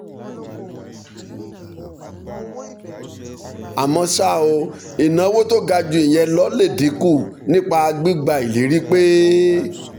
àmọ́ ṣá o ìnáwó tó ga ju ìyẹn lọ lè dín kù nípa gbígba ìlérí pé